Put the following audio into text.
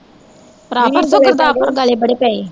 ਪਰਾਵਾਂ ਪਰਸੋਂ ਗੁਰਦਾਸਪੁਰ ਗੜੇ ਬੜੇ ਪਏ